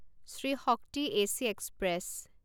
Shri Shakti AC express